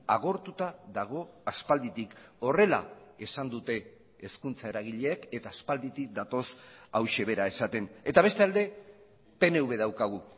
agortuta dago aspalditik horrela esan dute hezkuntza eragileek eta aspalditik datoz hauxe bera esaten eta bestalde pnv daukagu